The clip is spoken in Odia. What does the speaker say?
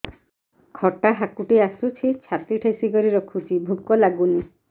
ଖଟା ହାକୁଟି ଆସୁଛି ଛାତି ଠେସିକରି ରଖୁଛି ଭୁକ ଲାଗୁନି